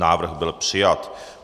Návrh byl přijat.